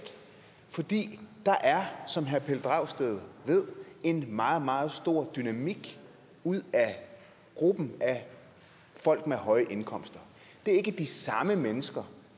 fordi der som herre pelle dragsted ved er en meget meget stor dynamik i gruppen af folk med høje indkomster det er ikke de samme mennesker